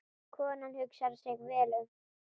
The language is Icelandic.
Konan hugsar sig vel um.